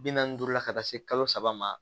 Bi naani ni duuru la ka taa se kalo saba ma